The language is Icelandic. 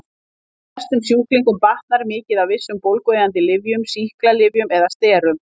Flestum sjúklingum batnar mikið af vissum bólgueyðandi lyfjum, sýklalyfjum eða sterum.